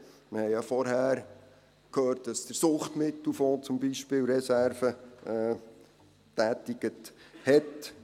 Wir haben ja vorhin gehört, dass der Suchtmittelfonds zum Beispiel Reserven gebildet hat;